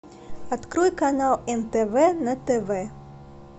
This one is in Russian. открой канал нтв на тв